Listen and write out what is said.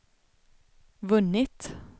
vunnit